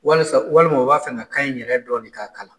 Walisa walima u b'a fɛ ka kan in yɛrɛ dɔ de ka kalan.